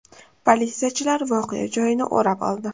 Politsiyachilar voqea joyini o‘rab oldi.